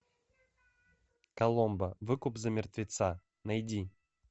коломбо выкуп за мертвеца найди